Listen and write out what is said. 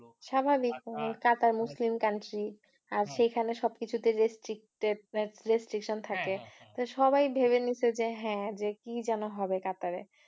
স্বাভাবিক, Qatar Muslim country আর সেখানে সবকিছুতে restricted, restriction থাকে তো সবাই ভেবে নিচ্ছে যে হ্যাঁ যে কি যেন হবে কাতারে।